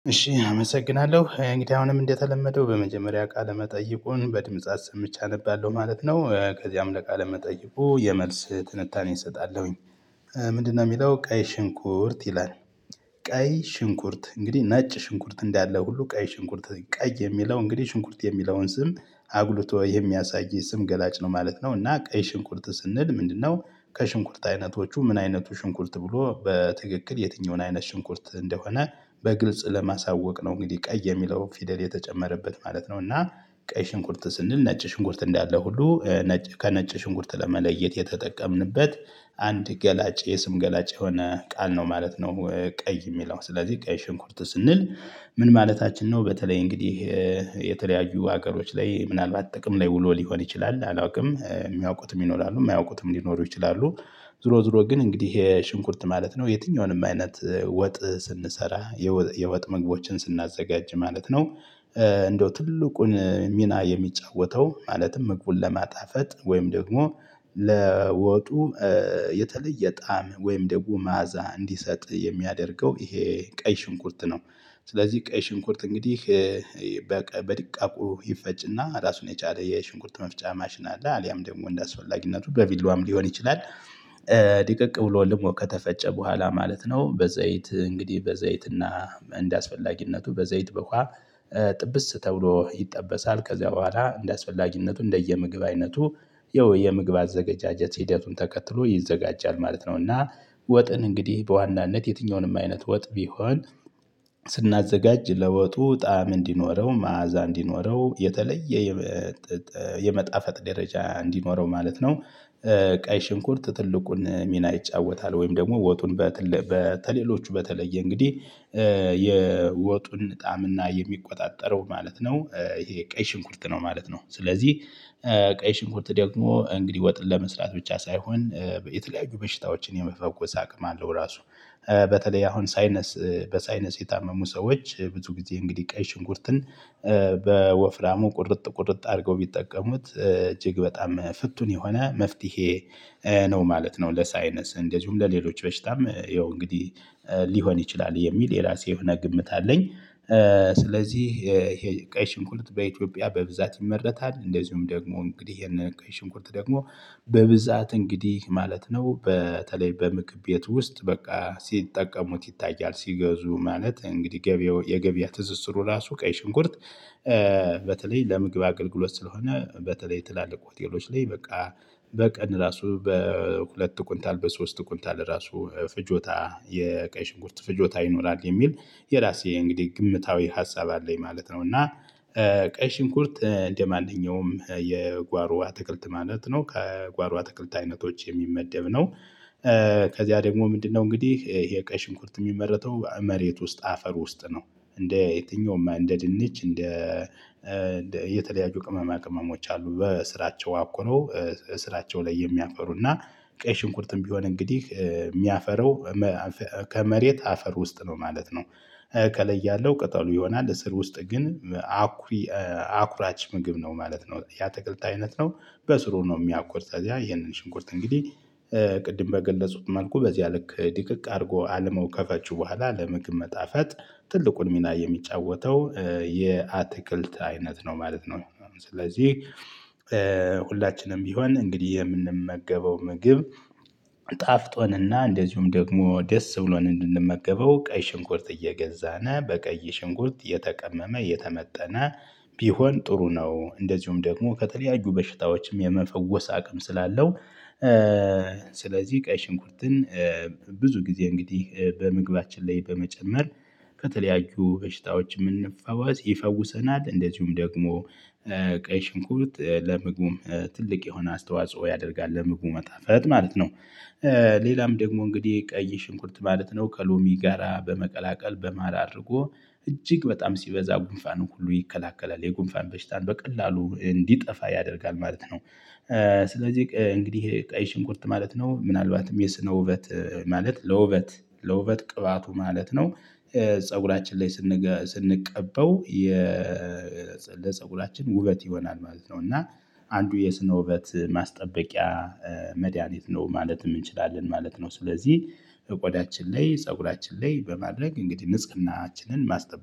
እሺ አመሰግናለሁ እንግዲ አሁንም እንደተለመደው በመጀመሪያ ቃለ መጠይቁን በድምፃት አሰምቼ አነባለሁ ማለት ነው ከዚያም ለቃለ መጠየቁ የመልስ ትንታኔ እሰጣለሁኝ። ምንድነው የሚለው ቀይ ሽንኩርት ይላል? ቀይ ሽንኩርት እንግዲህ ነጭ ሽንኩርት እንዳለ ሁሉ ቀይ ሽንኩርት ቀይ የሚለው እንግዲህ ሽንኩርት የሚለውን ስም አጉልቶ የሚያሳይ ስም ገላጭ ነው ማለት ነው። እና ቀይ ሽንቁርት ስንል ምንድነው ከሽንቁርት አይነቶቹ ምን አይነቱ ሽንኩልት ብሎ በትክክል የትኛውን አይነት ሽንኩልት እንደሆነ በግልጽ ለማሳወቅ ነው እንግዲህ ቀይ የሚለው ፊደል የተጨመረበት ማለት ነው። እና ቀይ ሽንኩርት ስንል ነጭ ሽንኩርት እንዳለ ሁሉ ከነጭ ሽንጉርት ለመለየት የተጠቀምንበት አንድ ገላጭ የስም ገላጭ የሆነ ቃል ነው ማለት ነው። ቀይ የሚለው ስለዚህ ቀይ ሽንኩርት ስንል ምን ማለታችን ነው? በተለይ እንግዲህ የተለያዩ ሀገሮች ላይ ምናልባት ጥቅም ላይ ውሎ ሊሆን ይችላል አላውቅም የሚያውቁትም ይኖራሉ የማያውቁትም ሊኖሩ ይችላሉ። ዙሮ ዙሮ ግን እንግዲህ ይሄ ሽንኩርት ማለት ነው የትኛውንም አይነት ወጥ ስንሰራ የወጥ ምግቦችን ስናዘጋጅ ማለት ነው። እንደው ትልቁን ሚና የሚጫወተው ማለትም መግቡን ለማጣፈጥ ወይም ደግሞ ለወጡ የተለየ ጣዕም ወይም ደግሞ መዓዛ እንዲሰጥ የሚያደርገው ይሄ ቀይ ሽንኩርት ነው። ስለዚህ ቀይ ሽንኩርት እንግዲህ በድቃቁ ይፈጭና ራሱን የቻለ የሽንኩርት መፍጫ ማሽን አለ አሊያም ደግሞ እንደ አስፈላጊነቱ በቪላዋም ሊሆን ይችላል። ድቅቅ ብሎ ደግሞ ከተፈጨ በኋላ ማለት ነው በዘይት እንግዲህ በዘይት አና አንደ አስፈላጊነቱ በዘይት በኋላ ጥብስ ተብሎ ይጠበሳል ከዚያ በኋላ እንደሚያስፈልግነቱ እንደየምግብ አይነቱ የወይ የምግብ አዘጋጀት ሂደቱን ተከትሎ ይዘጋጃል ማለት ነው። እና ወጥን እንግዲህ በዋናነት የትኛውንም አይነት ወጥ ቢሆን ስናዘጋጅ ለወጡ ጣዕም እንዲኖረው መዓዛ እንዲኖረው የተለየ የመጣፈጥ ደረጃ እንዲኖረው ማለት ነው። ቀይ ሽንኩርት ትልቁን ሚና ይጫወታል ወይም ደግሞ ወጡን ከሌሎቹ በተለየ እንግዲህ የወጡን ጣም እና የሚቆጣጠረው ማለት ነው ይሄ ቀይ ሽንኩልት ነው ማለት ነው። ስለዚህ ቀይ ሽንኩርት ደግሞ እንግዲህ ወጥን ለመስራት ብቻ ሳይሆን የተለያዩ በሽታዎችን የመፈወስ አቅም አለው። ራሱ በተለይ አሁን ሳይነስ በሳይነስ የታመሙ ሰዎች ብዙ ጊዜ እንግዲህ ቀይ ሽንኩርትን በወፍራሙ ቁርጥ ቁርጥ አድርገው ቢጠቀሙት እጅግ በጣም ፍቱን የሆነ መፍትሄ ነው ማለት ነው። ለሳይነስ እንደዚሁም ለሌሎች በሽታም ይኸው እንግዲህ ሊሆን ይችላል የሚል የራሴ የሆነ ግምት አለኝ። ስለዚህ ቀይ ሽንኩልት በኢትዮጵያ በብዛት ይመረታል እንደዚሁም ደግሞ እንግዲህ የነ ቀይ ሽንኩርት ደግሞ በብዛት እንግዲህ ማለት ነው። በተለይ በምግብ ቤት ውስጥ በቃ ሲጠቀሙት ይታያል ሲገዙ ማለት እንግዲህ ገቢው የገቢያ ትዝዝሩ ራሱ ቀይ ሽንኩርት በተለይ ለምግብ አገልግሎት ስለሆነ በተለይ ትላልቅ ሆቴሎች ላይ በቃ በቀን ራሱ በሁለት ቁንታል በሶስት ቁንታል ራሱ ፍጆታ የቀይ ሽንጉርት ፍጆታ ይኖራል። የሚል የራሴ እንግዲህ ግምታዊ ሀሳብ አለኝ ማለት ነው። እና ቀይ ሽንኩርት እንደማንኛውም የጓሮ አትክልት ማለት ነው ከጓሮ አትክልት አይነቶች የሚመደብ ነው። ከዚያ ደግሞ ምንድነው እንግዲህ ይሄ ቀይ ሽንኩርት የሚመረተው መሬት ውስጥ አፈር ውስጥ ነው። እንደ የትኛውማ እንደ ድንች እንደ እንደ እየተለያዩ ቅመማ ቅመሞች አሉ በስራቸው አቁኖ ስራቸው ላይ የሚያፈሩና ቀይ ሽንኩርትም ቢሆን እንግዲህ የሚያፈራው ከመሬት አፈር ውስጥ ነው ማለት ነው። ከላይ ያለው ቅጠሉ ይሆናል ስር ውስጥ ግን አኩሪ አኩራች ምግብ ነው ማለት ነው ያትክልት አይነት ነው። በስሩ ነው የሚያቆርጥ ታዲያ ይሄንን ሽንኩርት እንግዲህ ቅድም በገለጹት መልኩ በዚያ ልክ ድቅቅ አድርጎ አለመው ከፈጬ በኋላ ለምግብ መጣፈጥ ትልቁን ሚና የሚጫወተው የአትክልት አይነት ነው ማለት ነው። ስለዚህ ሁላችንም ቢሆን እንግዲህ የምንመገበው ምግብ ጣፍጦንና እንደዚሁም ደግሞ ደስ ብሎን እንድንመገበው ቀይ ሽንኩርት እየገዛን በቀይ ሽንኩርት የተቀመመ የተመጠነ ቢሆን ጥሩ ነው። እንደዚሁም ደግሞ ከተለያዩ በሽታዎችም የመፈወስ አቅም ስላለው ስለዚህ ቀይ ሽንኩርትን ብዙ ጊዜ እንግዲህ በምግባችን ላይ በመጨመር ከተለያዩ በሽታዎች የምንፈዋወስ ይፈውሰናል። እንደዚሁም ደግሞ ቀይ ሽንኩርት ለመግቡ ትልቅ የሆነ አስተዋጽኦ ያደርጋል ለምግብ መጣፈት ማለት ነው። ሌላም ደግሞ እንግዲህ ቀይ ሽንኩርት ማለት ነው ከሎሚ ጋራ በመቀላቀል በማር አድርጎ እጅግ በጣም ሲበዛ ጉንፋንን ሁሉ ይከላከላል የጉንፋን በሽታን በቀላሉ እንዲጠፋ ያደርጋል ማለት ነው። ስለዚህ እንግዲህ ቀይ ሽንኩርት ማለት ነው ምናልባትም የስነ ውበት ማለት ለውበት ለውበት ቅባቱ ማለት ነው። ፀጉራችን ላይ ስንቀበው ለፀጉራችን ውበት ይሆናል ማለት ነው። እና አንዱ የስነ ውበት ማስጠበቂያ መድያኒት ነው ማለትም እንችላለን ማለት ነው። ስለዚህ ቆዳችን ላይ ፀጉራችን ላይ በማድረግ እንግዲህ ንጽግናችንን ማስጠበቅ